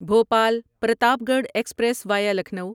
Bhopal Pratapgarh express via Lucknow